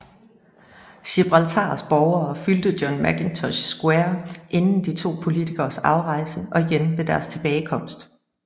Gibraltars borgere fyldte John Mackintosh Square inden de to politikeres afrejse og igen ved deres tilbagekomst